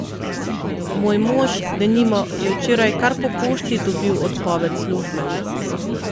Moj mož, denimo, je včeraj kar po pošti dobil odpoved službe.